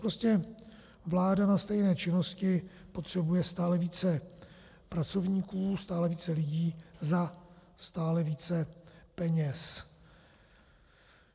Prostě vláda na stejné činnosti potřebuje stále více pracovníků, stále více lidí za stále více peněz.